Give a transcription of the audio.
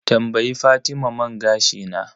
Tambayi fatima man gashi na.